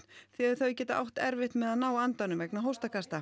því þau geta átt erfitt með að ná andanum vegna